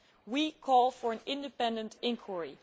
We call for an independent inquiry.